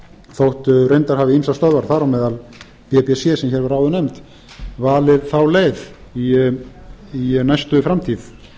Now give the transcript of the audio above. þótt reyndar hafi ýmsar stöðvar þar á meðal bbc sem hér var áður nefnd valið þá leið í næstu framtíð